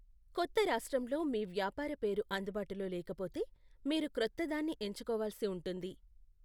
కొత్త రాష్ట్రంలో మీ వ్యాపార పేరు అందుబాటులో లేకపోతే, మీరు క్రొత్తదాన్ని ఎంచుకోవాల్సి ఉంటుంది.